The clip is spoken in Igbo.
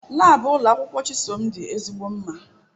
Laabu ụlọ akwụkwọ Chisom dị ezigbo mma